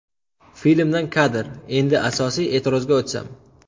Filmdan kadr Endi asosiy e’tirozga o‘tsam.